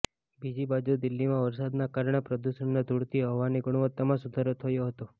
બીજી બાજુ દિલ્હીમાં વરસાદના કારણે પ્રદુષણના ધુળથી હવાની ગુણવત્તામાં સુધારો થયો હતો